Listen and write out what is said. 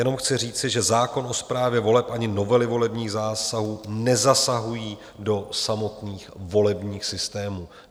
Jenom chci říci, že zákon o správě voleb ani novely volebních zákonů nezasahují do samotných volebních systémů.